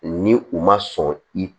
Ni u ma sɔn i